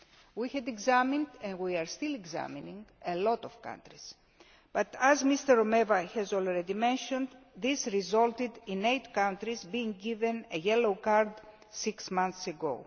We have examined and we are still examining a lot of countries but, as Mr Romeva i Rueda has already mentioned, this resulted in eight countries being given a yellow card' six months ago.